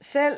selv